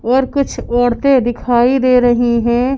और कुछ औरतें दिखाई दे रही हैं।